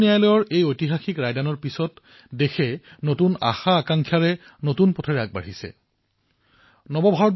উচ্চতম ন্যায়ালয়ে এই ঐতিহাসিক ৰায়দানৰ পিছত এতিয়া দেশ নতুন উৎসাহ আৰু নতুন আকাংক্ষাৰ সৈতে নতুন পথত নতুন উদ্দেশ্যৰে আগবাঢ়িছে